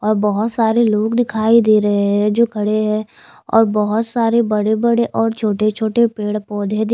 और बहुत सारे लोग दिखाई दे रहे है जो खड़े है और बहुत सारे बड़े बड़े और छोटे छोटे पेड़ पौधे दि।